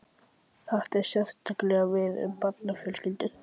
Þetta á sérstaklega við um barnafjölskyldur.